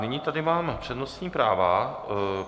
Nyní tady mám přednostní práva.